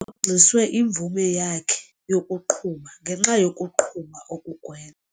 rhoxiswe imvume yakhe yokuqhuba ngenxa yokuqhuba okugwe.